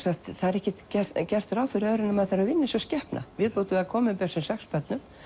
ekki er gert ráð fyrir öðru en að maður þarf að vinna eins og skepna viðbót við að koma upp þessum sex börnum